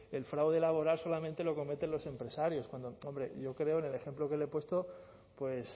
el fraude laboral solamente lo cometen los empresarios cuando hombre yo creo que en el ejemplo que le he puesto pues